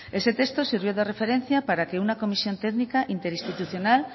ese texto sirvió de referencia para que una comisión técnica interinstitucional